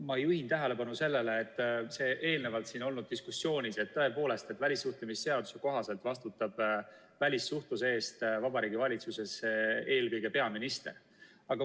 Ma juhin tähelepanu sellele , et tõepoolest, välissuhtlemisseaduse kohaselt vastutab välissuhtluse eest Vabariigi Valitsuses eelkõige peaminister.